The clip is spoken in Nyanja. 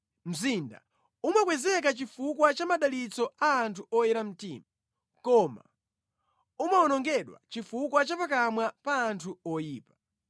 Mzinda umakwezeka chifukwa cha madalitso a anthu oyera mtima, koma umawonongedwa chifukwa cha pakamwa pa anthu oyipa.